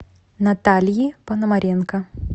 натальи пономаренко